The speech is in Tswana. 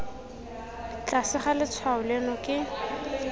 tlase ga letshwao leno ke